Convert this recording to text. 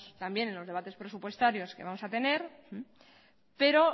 también en los debates presupuestarios que vamos a tener pero